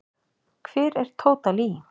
Hver er Tóta Lee?